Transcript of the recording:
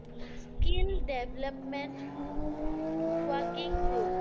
Skill development working group